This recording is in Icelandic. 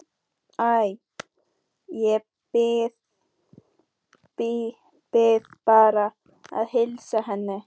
Æ, ég bið bara að heilsa henni